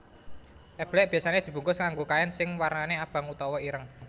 Eblek biasane dibungkus nganggo kain sing warnane abang utawa ireng